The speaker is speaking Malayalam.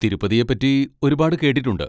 തിരുപ്പതിയെ പറ്റി ഒരുപാട് കേട്ടിട്ടുണ്ട്.